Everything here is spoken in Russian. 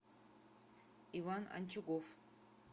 иван анчугов